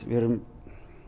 við erum